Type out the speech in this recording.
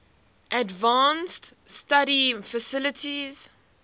advanced study faculty